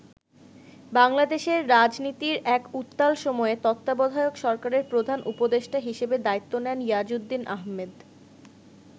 বাংলাদেশের রাজনীতির এক উত্তাল সময়ে তত্ত্বাবধায়ক সরকারের প্রধান উপদেষ্টা হিসেব দায়িত্ব নেন ইয়াজউদ্দিন আহম্মেদ।